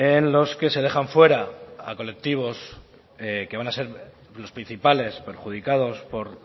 en los que se dejan fuera a colectivos que van a ser los principales perjudicados por